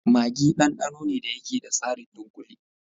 Maggi ɗanɗano ne da yake da tsarin dunkule.